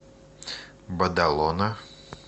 бадалона